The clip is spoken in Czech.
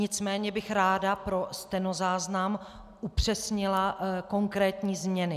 Nicméně bych ráda pro stenozáznam upřesnila konkrétní změny.